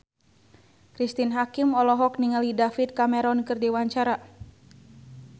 Cristine Hakim olohok ningali David Cameron keur diwawancara